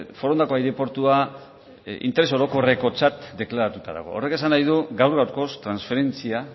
forondako aireportua interes orokorrekotzat deklaratuta dago horrek esan nahi du gaur gaurkoz transferentzia